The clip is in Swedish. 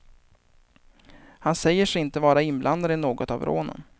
Han säger sig inte vara inblandad i något av rånen.